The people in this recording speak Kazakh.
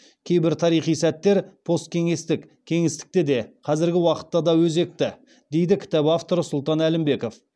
кейбір тарихи сәттер посткеңестік кеңістікте де қазіргі уақытта да өте өзекті дейді кітап авторы сұлтан әлімбеков